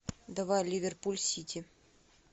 давай ливерпуль сити